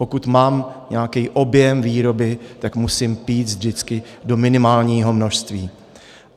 Pokud mám nějaký objem výroby, tak musím péct vždycky do minimálního množství.